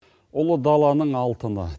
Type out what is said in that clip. ұлы даланың алтыны